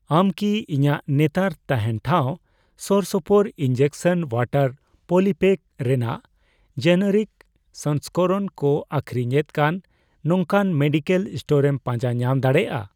ᱟᱢ ᱠᱤ ᱤᱧᱟᱜ ᱱᱮᱛᱟᱨ ᱛᱟᱦᱮᱱ ᱴᱷᱟᱶ ᱥᱳᱨᱥᱳᱯᱳᱨ ᱤᱱᱡᱮᱠᱥᱚᱱ ᱚᱣᱟᱴᱟᱨ ᱯᱚᱞᱤᱯᱮᱠ ᱨᱮᱱᱟᱜ ᱡᱮᱱᱮᱨᱤᱠ ᱥᱚᱝᱥᱠᱚᱨᱚᱱ ᱠᱚ ᱟᱹᱠᱷᱨᱤᱧ ᱮᱫ ᱠᱟᱱ ᱱᱚᱝᱠᱟᱱ ᱢᱮᱰᱤᱠᱮᱞ ᱥᱴᱳᱨ ᱮᱢ ᱯᱟᱸᱡᱟ ᱧᱟᱢ ᱫᱟᱲᱮᱭᱟᱜᱼᱟ ᱾